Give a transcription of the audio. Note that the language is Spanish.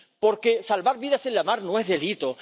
Porque salvar vidas en la mar no es delito